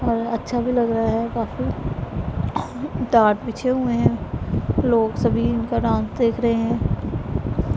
और अच्छा भी लग रहा है काफी टाट पीछे हुए हैं लोग सभी का उनका डांस देख रहे हैं।